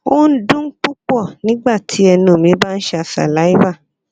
o n dun pupọ nigbati ẹnu mi ba n ṣa saliva